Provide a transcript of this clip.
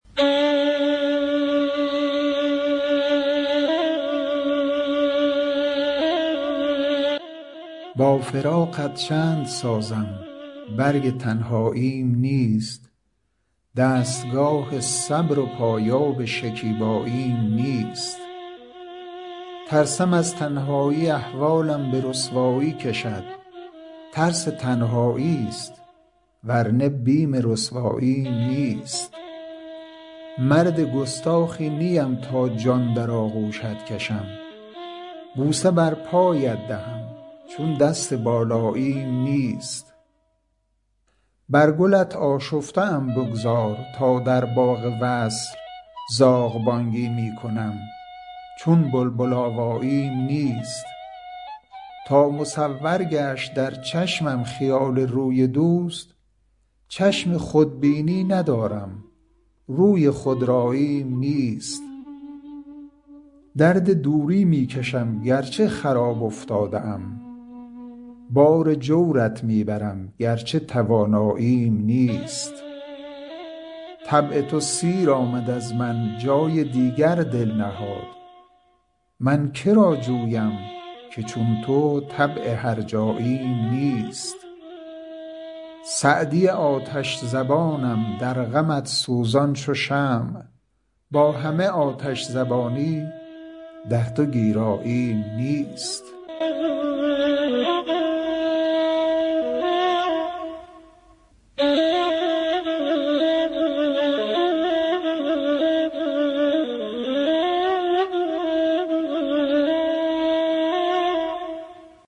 با فراقت چند سازم برگ تنهاییم نیست دستگاه صبر و پایاب شکیباییم نیست ترسم از تنهایی احوالم به رسوایی کشد ترس تنهایی ست ور نه بیم رسواییم نیست مرد گستاخی نیم تا جان در آغوشت کشم بوسه بر پایت دهم چون دست بالاییم نیست بر گلت آشفته ام بگذار تا در باغ وصل زاغ بانگی می کنم چون بلبل آواییم نیست تا مصور گشت در چشمم خیال روی دوست چشم خودبینی ندارم روی خودراییم نیست درد دوری می کشم گر چه خراب افتاده ام بار جورت می برم گر چه تواناییم نیست طبع تو سیر آمد از من جای دیگر دل نهاد من که را جویم که چون تو طبع هرجاییم نیست سعدی آتش زبانم در غمت سوزان چو شمع با همه آتش زبانی در تو گیراییم نیست